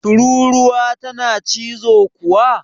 Tururuwa tana cizo kuwa?